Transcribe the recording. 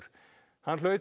hann hlaut